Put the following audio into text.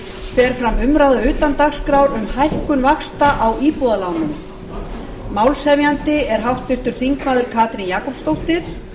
fer fram umræða utan dagskrár um hækkun vaxta á íbúðarlánum málshefjandi er háttvirtur þingmaður katrín jakobsdóttir